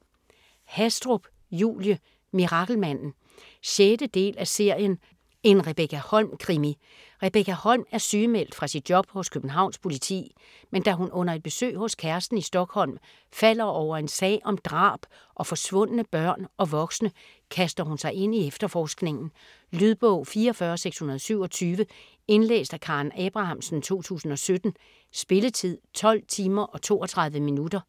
Hastrup, Julie: Mirakelmanden 6. del af serien En Rebekka Holm-krimi. Rebekka Holm er sygemeldt fra sit job hos Københavns Politi, men da hun under et besøg hos kæresten i Stockholm falder over en sag om drab og forsvundne børn og voksne, kaster hun sig ind i efterforskningen. Lydbog 44627 Indlæst af Karen Abrahamsen, 2017. Spilletid: 12 timer, 32 minutter.